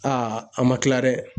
Aa an ma kila dɛ!